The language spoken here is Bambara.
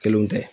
Kelenw tɛ